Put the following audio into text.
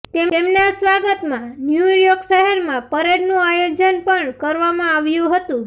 તેમના સ્વાગતમાં ન્યૂયોર્ક શહેરમાં પરેડનુ આયોજન પણ કરવામાં આવ્યુ હતુ